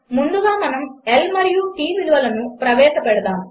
ముందుగా మనము L మరియు T విలువలను ప్రవేశపెడదాము